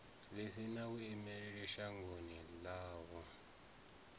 ḽi sina vhuimeli shangoni ḽavho